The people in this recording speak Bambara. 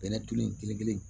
Bɛnɛ tulu in kelen kelen